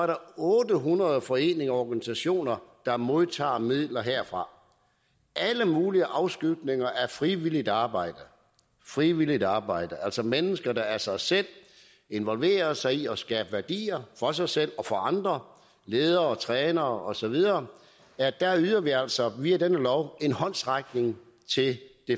der er otte hundrede foreninger og organisationer der modtager midler herfra alle mulige afskygninger af frivilligt arbejde frivilligt arbejde altså mennesker der af sig selv involverer sig i at skabe værdier for sig selv og for andre ledere og trænere og så videre der yder vi altså via denne lov en håndsrækning til det